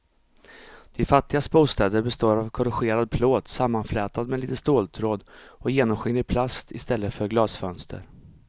De fattigas bostäder består av korrugerad plåt sammanflätad med lite ståltråd och genomskinlig plast i stället för glasfönster.